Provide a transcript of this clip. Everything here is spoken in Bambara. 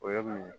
O ye mun ye